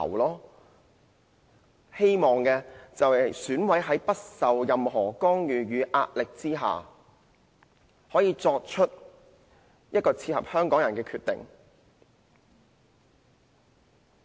我們希望選委可以在不受任何干預和壓力之下，作出切合香港人的決定。